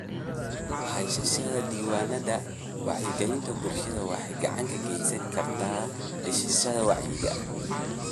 Haysashada diiwaannada wacyigelinta bulshada waxay gacan ka geysan kartaa dhisidda wacyiga.